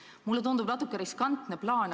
Mulle tundub see natuke riskantse plaanina.